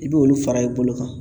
I b'olu fara i bolo kan.